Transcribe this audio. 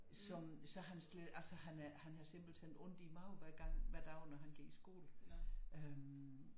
Som så hans han havde simpelthen ondt i maven hver gang hver dag når han gik i skole øh